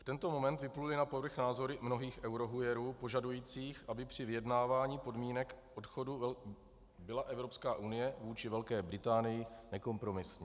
V tento moment vypluly na povrch názory mnohých eurohujerů požadujících, aby při vyjednávání podmínek odchodu byla Evropská unie vůči Velké Británii nekompromisní.